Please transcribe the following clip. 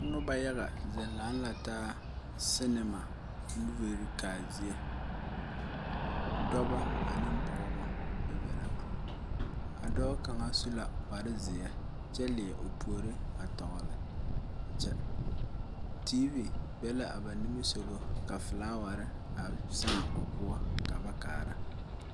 Noba yaga zeŋ leŋe la taa, cinema moviri kaa zie dɔba ane pɔgeba be be la a dɔɔ kaŋa su la kpaare zeɛ, kyɛ leɛ o puori a toɔle kyɛ TV be la a ba nimi sɔgɔ ka floweri a saaŋ o poɔ ka ba kaara